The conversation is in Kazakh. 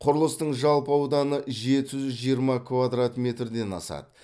құрылыстың жалпы ауданы жеті жүз жиырма квадрат метрден асады